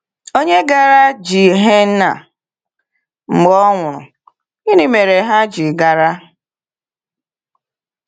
Ònye gara Gehenna mgbe ọ nwụrụ, gịnị mere ha ji gara?